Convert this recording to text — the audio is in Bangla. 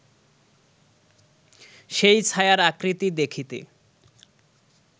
সেই ছায়ার আকৃতি দেখিতে